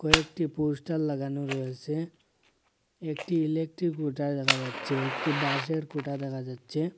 একটি পোস্টার লাগানো রয়েসে একটি ইলেকট্রিক খুঁটা দেখা যাচ্ছে একটি বাঁশের খুঁটা দেখা যাচ্ছে।